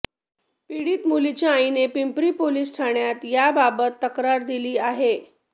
पीडित मुलीच्या आईने पिंपरी पोलिस ठाण्यात याबाबत तक्रार दिली आहे